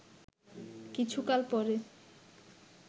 কিছুকাল পরে